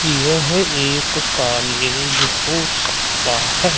यह एक कॉलेज हो सकता है।